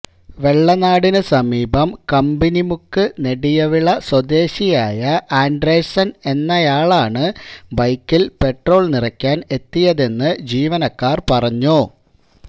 വെള്ളനാടിനു സമീപം കമ്പനിമുക്ക് നെടിയവിള സ്വദേശിയായ ആൻഡ്രേഴ്സൺ എന്നയാളാണ് ബൈക്കിൽ പെട്രോൾ നിറയ്ക്കാൻ എത്തിയതെന്ന് ജീവനക്കാർ പറഞ്ഞു